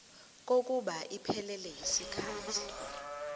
kokuba iphelele yisikhathi